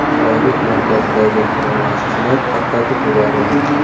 Bayrut markazidagi namoyishchilar tarqatib yuborildi.